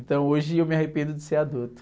Então hoje eu me arrependo de ser adulto.